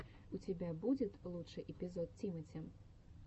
у тебя будет лучший эпизод тимати